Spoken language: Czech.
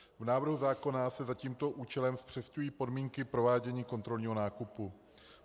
V návrhu zákona se za tímto účelem zpřesňují podmínky provádění kontrolního nákupu.